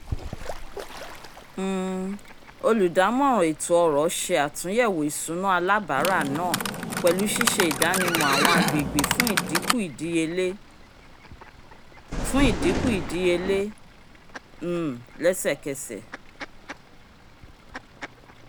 um olùdámọ̀ràn ètó-ọ̀rọ̀ ṣe àtúnyẹwò ìṣúná alábara náà pẹlu siṣe ìdánimọ̀ awọn agbègbè fún idínkù ìdíyelé fún idínkù ìdíyelé um lẹsẹ k'ẹsẹ